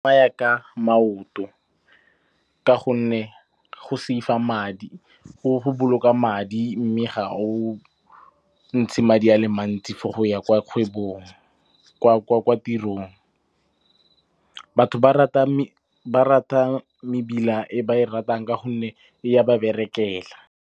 Ba ya ka maoto ka gonne go boloka madi mme ga o ntshe madi a le mantsi for go ya kwa tirong. Batho ba rata ba mebila e ba e ratang ka gonne e ya ba berekela.